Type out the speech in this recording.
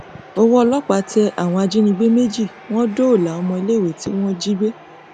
ọwọ ọlọpàá tẹ àwọn ajínigbé méjì wọn dóòlà ọmọléèwé tí wọn jí gbé